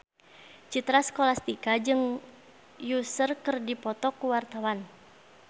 Citra Scholastika jeung Usher keur dipoto ku wartawan